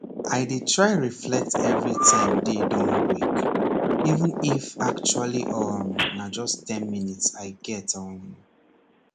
i dey try reflect every time day don break even if actually um na just ten minutes i get um